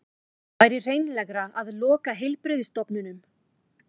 Væri hreinlegra að loka heilbrigðisstofnunum